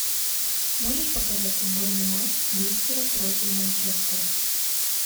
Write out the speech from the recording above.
можешь показать футбольный матч лестера против манчестера